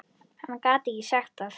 Hann gat ekki sagt það.